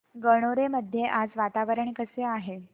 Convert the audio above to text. गणोरे मध्ये आज वातावरण कसे आहे